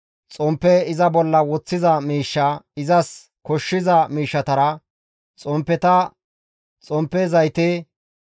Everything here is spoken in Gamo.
xomppe iza bolla woththiza miishshaa izas koshshiza miishshatara, xomppeta, xomppe zayte,